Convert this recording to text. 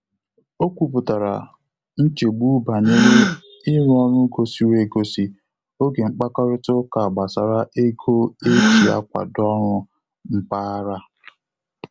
O kwuputara nchegbu banyere i ru ọru gosiiri e gosi oge mkpakorịta uka gbasara ego e ji akwado ọrụ mpaghara.